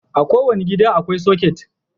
A kowane gida akwai soket.